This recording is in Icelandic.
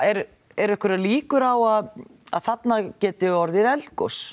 eru eru einhverjar líkur á að að þarna geti orðið eldgos